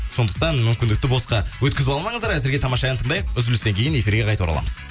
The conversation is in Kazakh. сондықтан мүмкіндікті босқа өткізіп алмаңыздар әзірге тамаша ән тыңдайық үзілістен кейін эфирге қайта ораламыз